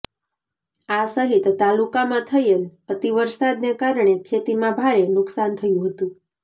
આ સહિત તાલુકામાં થયેલ અતિ વરસાદને કારણે ખેતીમાં ભારે નુકસાન થયુ હતું